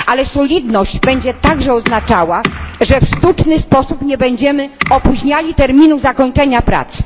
solidność będzie także oznaczała, że w sztuczny sposób nie będziemy opóźniali terminu zakończenia prac.